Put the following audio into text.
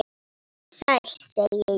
Sæll, segi ég.